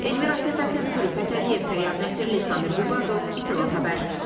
Elmira Səfəddinqızı, Zülfü Fətəliyev, Tayyar Nəsirli, Samir Qubadov, ATV xəbər.